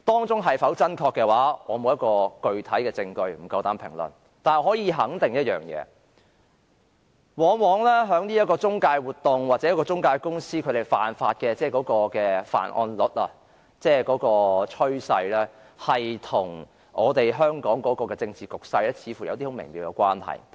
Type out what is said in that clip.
這是否真確，我沒有具體證據，不敢評論；但我可以肯定一點，這類中介活動或中介公司的犯案率或這方面的趨勢，往往與香港的政治局勢似乎有很微妙的關係。